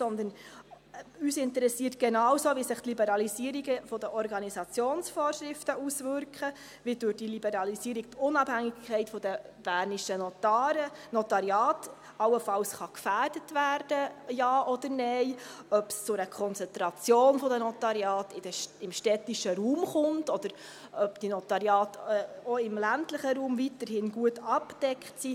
Vielmehr interessiert uns genauso, wie sich die Liberalisierungen der Organisationsvorschriften auswirken, ob durch die Liberalisierungsunabhängigkeit die bernischen Notariate allenfalls gefährdet werden können, ja oder nein, ob es zu einer Konzentration der Notariate im städtischen Raum kommt oder ob die Notariate auch im ländlichen Raum weiterhin gut abgedeckt sind.